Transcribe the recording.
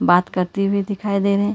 बात करते हुए दिखाई दे रहे--